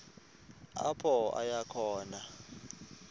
apho aya khona